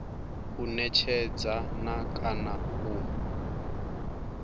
u netshedza na kana u